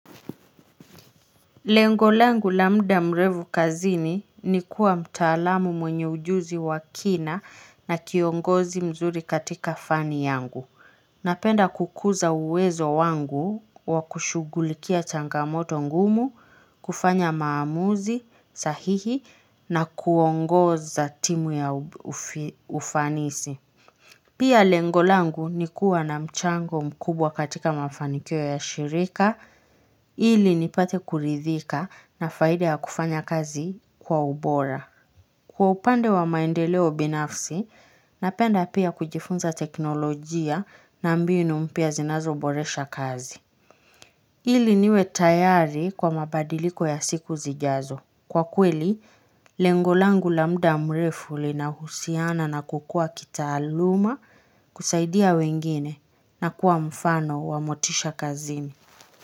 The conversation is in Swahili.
Lengo langu la muda mrefu kazini ni kuwa mtaalamu mwenye ujuzi wa kina na kiongozi mzuri katika fani yangu. Napenda kukuza uwezo wangu wa kushughulikia changamoto ngumu, kufanya maamuzi sahihi na kuongoza timu ya ufanisi. Pia lengo langu ni kuwa na mchango mkubwa katika mafanikio ya shirika, ili nipate kuridhika na faida ya kufanya kazi kwa ubora. Kwa upande wa maendeleo binafsi, napenda pia kujifunza teknolojia na mbinu mpya zinazoboresha kazi. Ili niwe tayari kwa mabadiliko ya siku zijazo. Kwa kweli, lengo langu la muda mrefu linahusiana na kukua kitaaluma kusaidia, wengine na kuwa mfano wa motisha kazini.